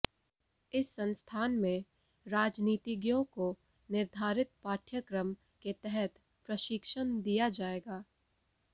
इस संस्थान में राजनीतिज्ञों को निर्धारित पाठ्यक्रम के तहत प्रशिक्षण दिया जायेगा